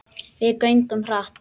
Við göngum hratt.